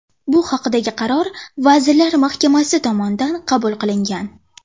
Bu haqdagi qaror Vazirlar Mahkamasi tomonidan qabul qilingan.